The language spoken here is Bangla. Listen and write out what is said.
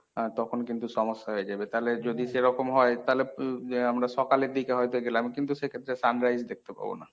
আহ তখন কিন্তু সমস্যা হয়ে যাবে তালে যদি সেরকম হয় তালে আমরা সকালের দিকে হয়ত গেলাম কিন্তু সেক্ষেত্রে sur rise দেখতে পাবো না।